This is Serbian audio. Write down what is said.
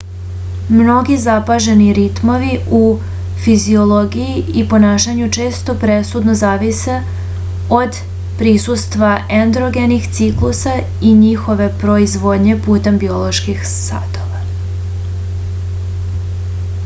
mnogi zapaženi ritmovi u fiziologiji i ponašanju često presudno zavise od prisustva endogenih ciklusa i njihove proizvodnje putem bioloških satova